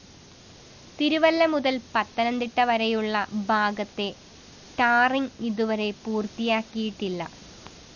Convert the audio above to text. തിരുവല്ല മുതല്‍ പത്തനംതിട്ട വരെയുള്ള ഭാഗത്തെ ടാറിങ്‌ ഇതുവരെ പൂര്‍ത്തിയാക്കിയിട്ടില്ല്